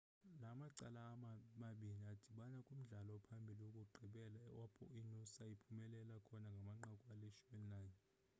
la macala mabini adibana kumdlalo ophambili wokugqibela apho inoosa iphumelele khona ngamanqaku ali-11